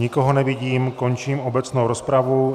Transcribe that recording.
Nikoho nevidím, končím obecnou rozpravu.